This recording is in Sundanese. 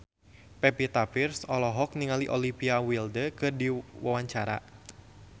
Pevita Pearce olohok ningali Olivia Wilde keur diwawancara